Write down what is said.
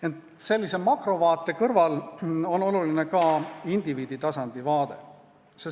Ent sellise makrovaate kõrval on oluline ka indiviiditasandi vaade.